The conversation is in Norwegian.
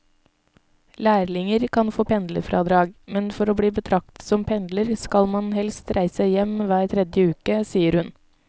Lærlinger kan få pendlerfradrag, men for å bli betraktet som pendler skal man helst reise hjem hver tredje uke, sier hun.